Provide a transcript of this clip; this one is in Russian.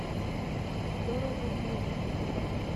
дорогобужем